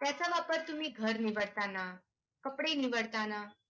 त्याचा वापर तुम्ही घर निवडताना कपडे निवडताना